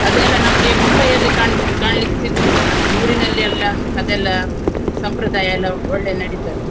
ಅದೆಲ್ಲಾ ನಮ್ಗೆ ಮುಂಬೈಯಲ್ಲಿ ಕಾಣಿಸ್~ ಕಾಣ್ಲಿಕ್ಕೆ ಸಿಗುವುದಿಲ್ಲ. ನಮ್ಗೆ ಊರಿನಲ್ಲಿ ಎಲ್ಲಾ ಅದೆಲ್ಲಾ ಸಂಪ್ರದಾಯ ಎಲ್ಲಾ ಒಳ್ಳೆ ನಡಿತದೆ.